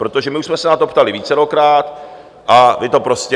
Protože my už jsme se na to ptali vícerokrát a vy to prostě...